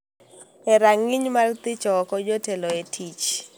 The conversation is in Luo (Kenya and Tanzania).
e rang�iny mar thicho oko jotelo e tich.